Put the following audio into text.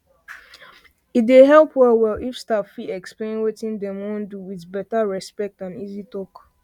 e dey help well well if staff fit explain wetin dem wan do with better respect and easy talk